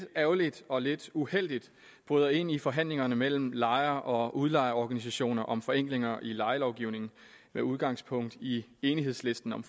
ærgerligt og lidt uheldigt bryder ind i forhandlingerne mellem lejer og udlejerorganisationer om forenklinger i lejelovgivningen med udgangspunkt i enighedslisten om